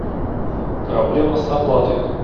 проблема с оплатой